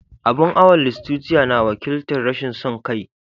Abun awon Lustitia na wakiltar "Rashin son kai."